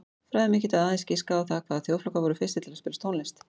Fræðimenn geta aðeins giskað á það hvaða þjóðflokkar voru fyrstir til að spila tónlist.